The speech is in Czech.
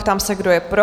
Ptám se, kdo je pro?